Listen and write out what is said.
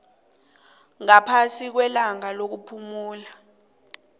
ngaphasi kwelanga lokuphumula